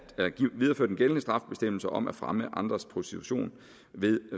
videreføre den gældende strafbestemmelse om at fremme andres prostitution ved